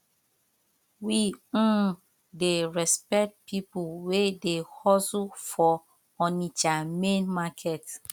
we um dey respect pipo wey dey hustle for onitsha main market